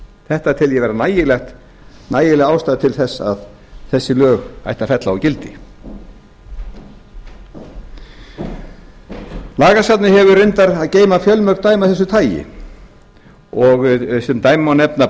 þetta tel ég vera nægilega ástæðu til þess að þessi lög ætti að fella úr gildi lagasafnið hefur reyndar að geyma fjölmörg lög af þessu tagi sem dæmi má nefna